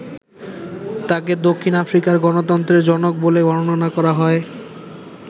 তাঁকে দক্ষিণ আফ্রিকার গণতন্ত্রের জনক বলে বর্ণনা করা হয়।